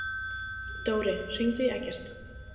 Dóri, hringdu í Eggert.